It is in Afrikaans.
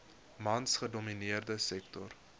mans gedomineerde sektor